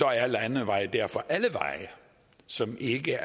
er landeveje derfor alle veje som ikke